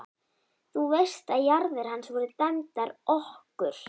Þú veist að jarðir hans voru dæmdar okkur!